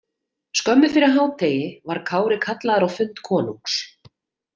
Skömmu fyrir hádegi var Kári kallaður á fund konungs.